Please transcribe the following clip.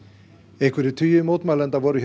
einhverjir tugir mótmælenda voru hér